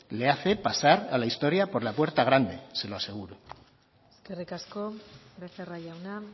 le hace pasar a la historia por la puerta grande se lo aseguro eskerrik asko becerra jauna